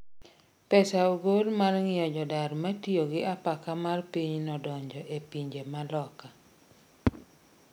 Pesa ogol mar ng'iyo jodar matiyo gi apaka mar pinyno donjo e pinje ma loka